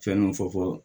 Fɛn dɔ fɔ fɔ